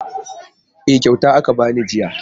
E, kyauta aka ba ni jiya.